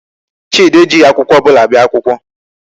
Chidi ejighị akwụkwọ ọbụla bịa akwụkwọ.